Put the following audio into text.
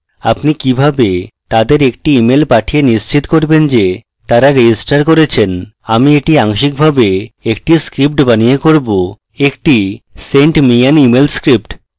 আপনি কিভাবে তাদের একটি email পাঠিয়ে নিশ্চিত করবেন যে তারা registered করেছেন আমি এটি আংশিকভাবে একটি script বানিয়ে করবএকটি send me an email script